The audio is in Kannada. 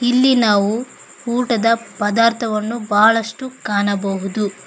ಇಲ್ಲಿ ನಾವು ಊಟದ ಪದಾರ್ಥವನ್ನು ಬಹಳಷ್ಟು ಕಾಣಬಹುದು.